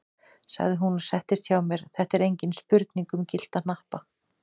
sagði hún og settist hjá mér, þetta er engin spurning um gyllta hnappa!